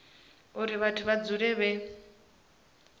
uri vhathu vha dzule vhe